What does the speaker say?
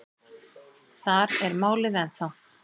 Þar er málið ennþá.